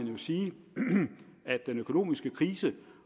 jo sige at den økonomiske krise